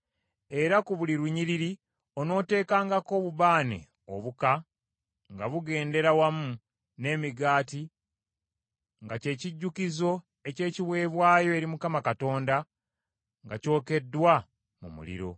Era ku buli lunyiriri onooteekangako obubaane obuka nga bugendera wamu n’emigaati nga kye kijjukizo eky’ekiweebwayo eri Mukama Katonda nga kyokeddwa mu muliro.